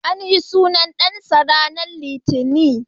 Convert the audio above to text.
An yi sunan dansa ranar Litinin.